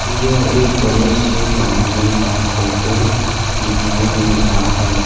यह एक बड़े से बंगले का फोटो दिखाई दे रहा है।